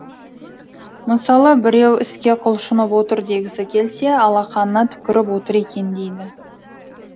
мысалы біреу іске құлшынып отыр дегісі келсе алақанына түкіріп отыр екен дейді